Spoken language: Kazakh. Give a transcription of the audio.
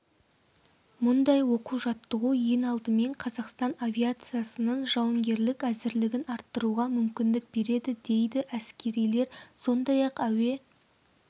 мұндай оқу-жаттығу ең алдымен қазақстан авиациясының жауынгерлік әзірлігін арттыруға мүмкіндік береді дейді әскерилер сондай-ақ әуе